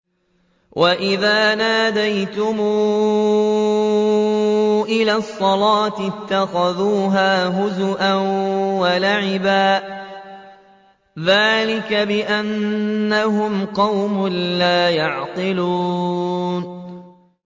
وَإِذَا نَادَيْتُمْ إِلَى الصَّلَاةِ اتَّخَذُوهَا هُزُوًا وَلَعِبًا ۚ ذَٰلِكَ بِأَنَّهُمْ قَوْمٌ لَّا يَعْقِلُونَ